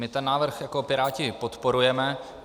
My ten návrh jako Piráti podporujeme.